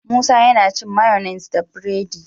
Musa yAna cin mayonnaise da buredi